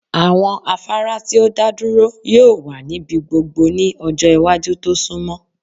Awọn afara ti o daduro yoo wa nibi gbogbo ni ọjọ iwaju to sunmọ